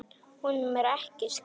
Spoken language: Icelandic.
Honum er ekki skemmt.